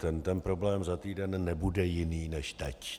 Ten problém za týden nebude jiný než teď.